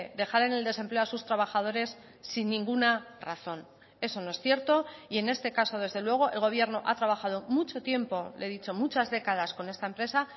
dejar en el desempleo a sus trabajadores sin ninguna razón eso no es cierto y en este caso desde luego el gobierno ha trabajado mucho tiempo le he dicho muchas décadas con esta empresa